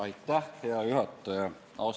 Aitäh, hea juhataja!